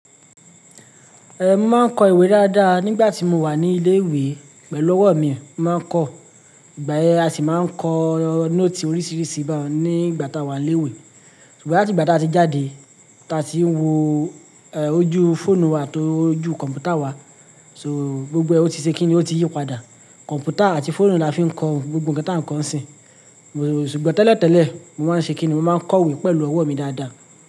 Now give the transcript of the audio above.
Ẹ máa ń kọ ìwé dáadáa nígbà tí mo wà ní ilé ìwé pẹ̀lú ọ̀wọ́ mi máa ń kọ, ìgbà yẹn a sì máa ń kọ nóòtì oríṣiríṣi nígbà tá a wà ní ilé ìwé. Ṣùgbọ́n láti ìgbà tí a ti jáde tí a ti ń wo ojú fóònù àti ojú kọ̀m̀pútà wa, so gbogbo ẹ ti ṣe kíni ó ti yípadà. Kọ̀m̀pútà àti fóònù la fi ń kọ gbogbo nǹkan tá ń kọ sìn. Ṣùgbọ́n tẹ́lẹ̀ tẹ́lẹ̀ mo máa ń ṣe kíni mo máa ń kọ ìwé pẹ̀lú ọ̀wọ́ mi dáadáa.